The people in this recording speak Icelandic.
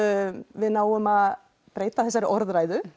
við náum að breyta þessari orðræðu